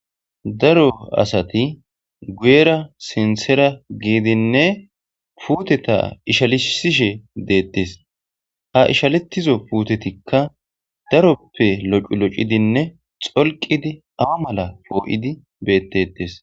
Daro asati guuyeranne sinththara giddinné puuttetta ishalishshe de'ettes. Ha ishalettiso puutsetikka daroppe lo'o lo'iddinné tsolqidi aawa mala be'ettettes.